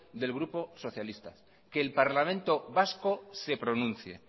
del grupo socialista que el parlamento vasco se pronuncie